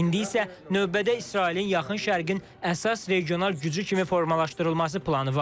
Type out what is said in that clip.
İndi isə növbədə İsrailin yaxın Şərqin əsas regional gücü kimi formalaşdırılması planı var.